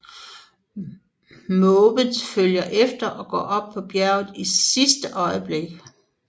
Måvens følger efter og når op på bjerget i sidste øjeblik